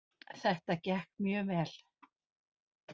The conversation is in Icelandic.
Þetta gekk mjög vel